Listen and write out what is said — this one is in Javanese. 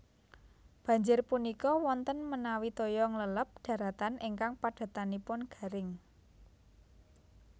Banjir punika wonten menawi toya ngleleb daratan ingkang padatanipun garing